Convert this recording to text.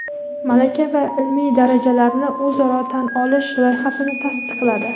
malaka va ilmiy darajalarni o‘zaro tan olish loyihasini tasdiqladi.